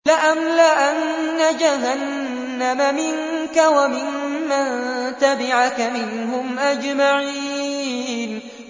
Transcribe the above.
لَأَمْلَأَنَّ جَهَنَّمَ مِنكَ وَمِمَّن تَبِعَكَ مِنْهُمْ أَجْمَعِينَ